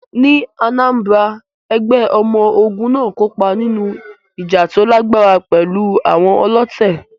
Ní Anambra, ẹgbẹ́ ọmọ ogun náà kópa nínú ìjà tó lágbára pẹ̀lú àwọn ọlọ̀tẹ̀.